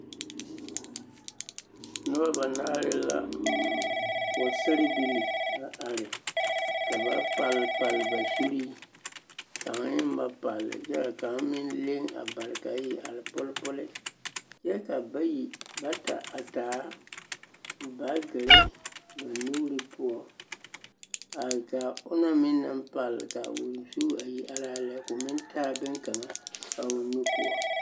Noba banaare la pɔgesarebilii la are ka ba palle palle ba zuri kaŋ eŋ ba palle kyɛ kaŋ eŋ leŋ a bare ka a iri are poli poli kyɛ ka bayi bata a taa baagere ba nuure poɔ a ka onaŋ meŋ naŋ palle ka o zu iri are a lɛ yaaraa lɛ ka o meŋ taa bonne kaŋ a o nu poɔ.